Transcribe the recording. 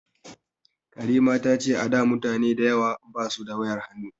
Karima ta ce a da mutane dayawa ba su da wayar hannu